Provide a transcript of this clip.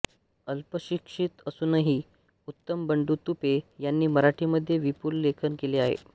अल्पशिक्षित असूनही उत्तम बंडू तुपे यांनी मराठीमध्ये विपुल लेखन केले आहे